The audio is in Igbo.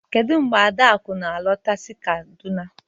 Kedu mgbe Adaku na-alọta si kaduna